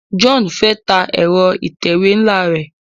John fè tá Ẹ̀rọ ìtẹ̀wé nla rẹ.